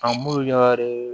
An b'u yare